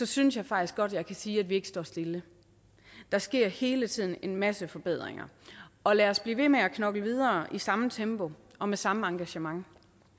synes jeg faktisk godt jeg kan sige at vi ikke står stille der sker hele tiden en masse forbedringer og lad os blive ved med at knokle videre i samme tempo og med samme engagement